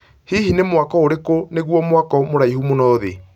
hihi ni mwako ũrĩkũ nĩgũo mwako mraihũ mũno thĩ